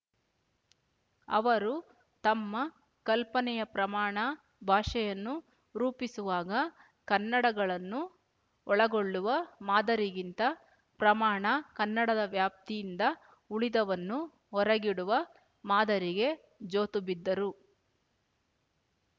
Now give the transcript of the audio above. ಅವರು ತಮ್ಮ ಕಲ್ಪನೆಯ ಪ್ರಮಾಣ ಭಾಷೆಯನ್ನು ರೂಪಿಸುವಾಗ ಕನ್ನಡಗಳನ್ನು ಒಳಗೊಳ್ಳುವ ಮಾದರಿಗಿಂತ ಪ್ರಮಾಣ ಕನ್ನಡದ ವ್ಯಾಪ್ತಿಯಿಂದ ಉಳಿದವನ್ನು ಹೊರಗಿಡುವ ಮಾದರಿಗೆ ಜೋತುಬಿದ್ದರು